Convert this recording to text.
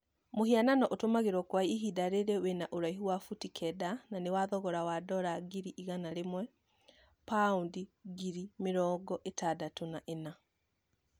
Mũhianano ũtũmirago kwa ihinda rĩrĩ wĩna ũraihu wa buti kenda na nĩ wa thogora wa dola ngiri igana rimwe(paundi ngiri mĩrongo ĩtandatũ na ĩna)